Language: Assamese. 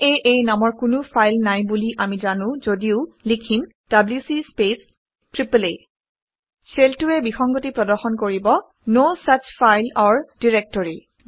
আঁ নামৰ কোনো ফাইল নাই বুলি আমি জানো যদিও লিখিম - ডব্লিউচি স্পেচ আঁ শ্বেলটোৱে বিসংগতি প্ৰদৰ্শন কৰিব - no such file or directory